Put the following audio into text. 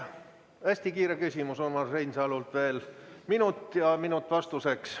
Hästi kiire küsimus veel Urmas Reinsalult, üks minut küsimiseks ja üks minut vastamiseks.